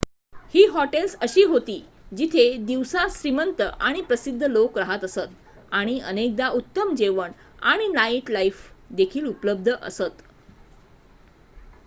ही hotels अशी होती जिथे दिवसा श्रीमंत आणि प्रसिध्द लोक राहत असत आणि अनेकदा उत्तम जेवण आणि नाईटलाइफ देखील उपलब्ध असत